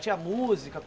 Tinha música?